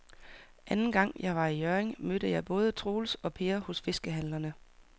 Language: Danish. Anden gang jeg var i Hjørring, mødte jeg både Troels og Per hos fiskehandlerne.